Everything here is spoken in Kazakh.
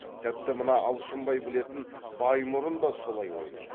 тіпті мына алшынбай білетін баймұрын да солай ойлайды